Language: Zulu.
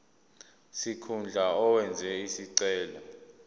sikhundla owenze isicelo